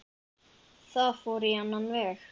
Það fór á annan veg.